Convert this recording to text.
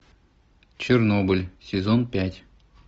чернобыль сезон пять